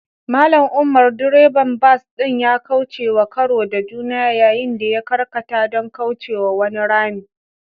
Mallam umar, direban bas ɗin ya kaucewa karo da juna yayin da ya karkata don kaucewa wani rami.